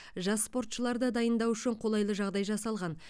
жас спортшыларды дайындау үшін қолайлы жағдай жасалған